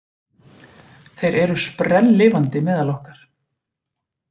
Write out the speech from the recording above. Þeir eru sprelllifandi meðal okkar